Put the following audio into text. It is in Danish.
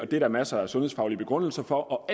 det er der masser af sundhedsfaglige begrundelser for